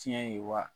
Tiɲɛ ye wa